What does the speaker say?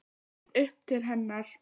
Ég leit upp til hennar.